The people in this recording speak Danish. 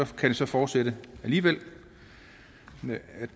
kan det så fortsætte alligevel